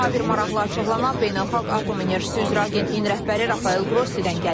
Daha bir maraqlı açıqlama Beynəlxalq Atom Enerjisi üzrə Agentliyin rəhbəri Rafael Qrossidən gəlib.